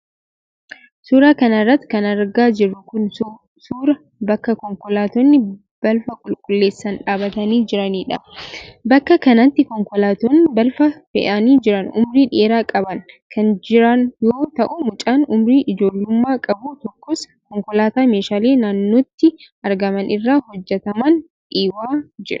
Suura kana irratti kan argaa jirru kun, suura bakka konkollaattonni balfa qulqulleessan dhaabatanii jiranii dha. Bakka kanatti konkolaattonn balfa fe'anii jiran umurii dheeraa qaban kan jiran yoo ta'u, mucaan umurii ijoollumaa qabu tokkos, konkolaataa meeshaalee naannotti argaman irraa hojjataman dhiibaa jira.